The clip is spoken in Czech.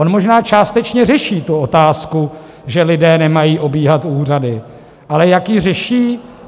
On možná částečně řeší tu otázku, že lidé nemají obíhat úřady, ale jak ji řeší?